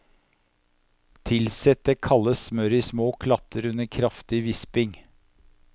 Tilsett det kalde smøret i små klatter under kraftig visping.